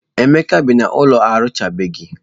Emeka bi n'ụlọ emechabeghị